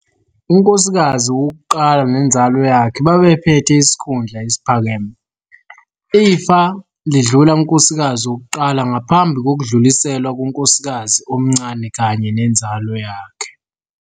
Unkosikazi wokuqala nenzalo yakhe babephethe isikhundla esiphakeme. Ifa lidlula kunkosikazi wokuqala ngaphambi kokudluliselwa kunkosikazi omncane kanye nenzalo yakhe.